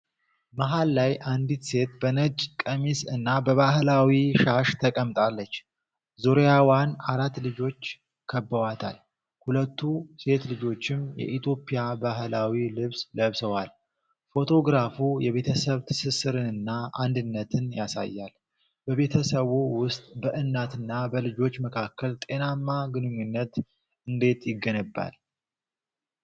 መሃል ላይ አንዲት ሴት በነጭ ቀሚስ እና በባህላዊ ሻሽ ተቀምጣለች። ዙሪያዋን አራት ልጆች ከበዋታል፤ ሁለቱ ሴት ልጆችም የኢትዮጵያ ባህላዊ ልብስ ለብሰዋል። ፎቶግራፉ የቤተሰብ ትስስርንና አንድነትን ያሳያል። በቤተሰብ ውስጥ በእናትና በልጆች መካከል ጤናማ ግንኙነት እንዴት ይገነባል?